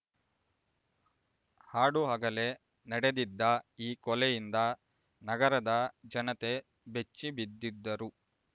ಹಾಡುಹಗಲೇ ನಡೆದಿದ್ದ ಈ ಕೊಲೆಯಿಂದ ನಗರದ ಜನತೆ ಬೆಚ್ಚಿಬಿದ್ದಿದ್ದರು